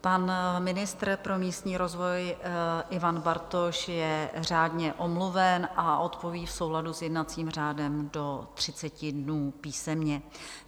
Pan ministr pro místní rozvoj Ivan Bartoš je řádně omluven a odpoví v souladu s jednacím řádem do 30 dnů písemně.